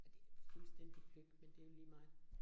Og det jo fuldstændig pløk, men det jo lige meget